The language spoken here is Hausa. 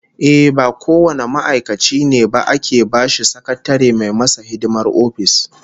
Ehh, ba kowane ma'aikaci ne ba ake bashi sakatare mai masa hidimar office